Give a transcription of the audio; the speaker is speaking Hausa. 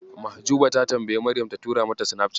Mahjuba ta tambayi Maryam ta tura mata Sinafcat.